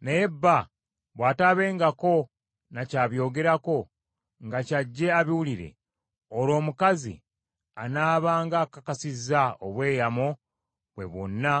Naye bba bw’ataabengako ne kyabyogerako nga ky’ajje abiwulire, olwo omukazi anaabanga akakasizza obweyamo bwe bwonna